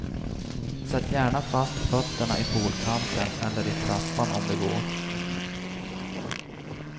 Sätt gärna fast fötterna i poolkanten eller i trappan om det går.